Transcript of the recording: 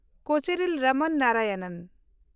ᱠᱳᱪᱮᱨᱤᱞ ᱨᱚᱢᱚᱱ ᱱᱟᱨᱟᱭᱚᱱᱚᱱ